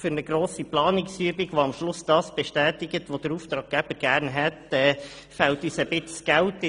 Für eine grosse Planungsübung, die am Schluss das bestätigt, was der Auftraggeber gerne hätte, fehlt uns das Geld.